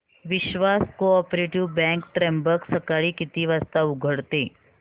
विश्वास cooperative bank Trimbak सकाळी किती वाजता उघडते